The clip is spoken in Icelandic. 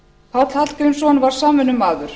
páll hallgrímsson var samvinnumaður hann var